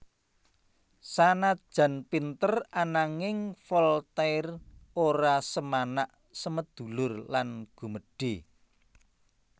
Sanajan pinter ananging Voltaire ora semanak semedulur lan gumedhé